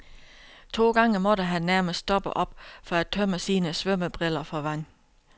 To gange måtte han nærmest stoppe op for at tømme sine svømmebriller for vand.